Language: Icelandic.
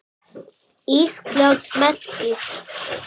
Íslands merki.